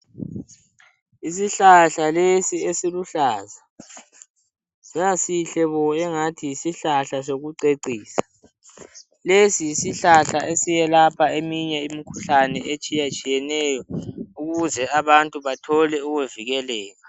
Isihlahla lesi esiluhlaza sasihle bo angathi yisihlahla sokucecisa. Lesi yisihlahla esiyelapha eminye imikhuhlane etshiyatshiyeneyo ukuze abantu bathole ukuvikeleka.